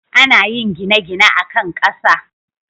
ana yin gine-gine akan Kasa